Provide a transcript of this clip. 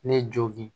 Ne jogin